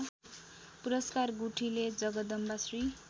पुरस्कार गुठीले जगदम्बाश्री